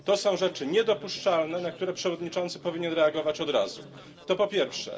Są to rzeczy niedopuszczalne, na które przewodniczący powinien reagować od razu to po pierwsze.